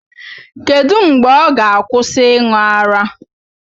Kedu mgbe ọ ga-akwụsị ịṅụ ara?